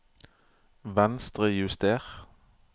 Venstrejuster